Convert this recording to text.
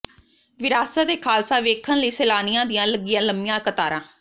ਵਿਰਾਸਤ ਏ ਖਾਲਸਾ ਵੇਖਣ ਲਈ ਸੈਲਾਨੀਆਂ ਦੀਆਂ ਲਗੀਆਂ ਲੰਮੀਆਂ ਕਤਾਰਾਂ